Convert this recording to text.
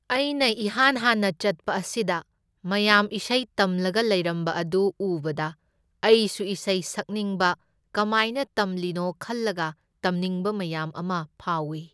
ꯑꯩꯅ ꯏꯍꯥꯟ ꯍꯥꯟꯅ ꯆꯠꯄ ꯑꯁꯤꯗ ꯃꯌꯥꯝ ꯏꯁꯩ ꯇꯝꯂꯒ ꯂꯩꯔꯝꯕ ꯑꯗꯨ ꯎꯕꯗ ꯑꯩꯁꯨ ꯏꯁꯩ ꯁꯛꯅꯤꯡꯕ, ꯀꯃꯥꯏꯅ ꯇꯝꯂꯤꯅꯣ ꯈꯜꯂꯒ ꯇꯝꯅꯤꯡꯕ ꯃꯌꯥꯝ ꯑꯃ ꯐꯥꯎꯢ꯫